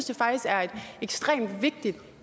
det faktisk er et ekstremt vigtigt